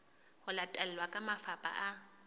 ho latelwa ke mafapha a